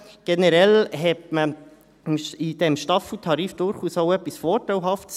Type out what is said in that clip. Generell sah man in diesem Staffeltarif durchaus auch etwas Vorteilhaftes: